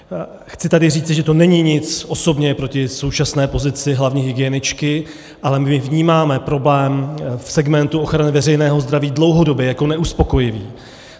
Chci tady říci, že to není nic osobně proti současné pozici hlavní hygieničky, ale my vnímáme problém v segmentu ochrany veřejného zdraví dlouhodobě jako neuspokojivý.